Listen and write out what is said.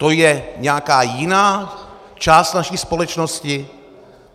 To je nějaká jiná část naší společnosti?